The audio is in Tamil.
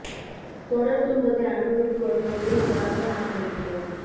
தொடர் துன்பத்தை அனுபவித்து வரும் ஒரே நபராக நான் இருக்கிறேன்